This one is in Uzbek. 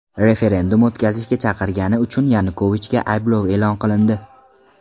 Referendum o‘tkazishga chaqirgani uchun Yanukovichga ayblov e’lon qilindi.